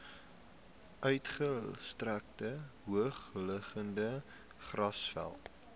uitgestrekte hoogliggende grasvelde